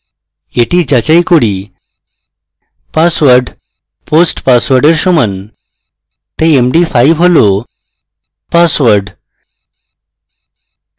এটি যাচাই করি password post password এর সমান তাই md5 হল পাসওয়ার্ড